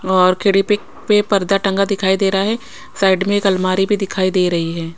और खिडिपिक पे पर्दा टंगा दिखाई दे रहा है साइड में एक अलमारी भी दिखाई दे रही है।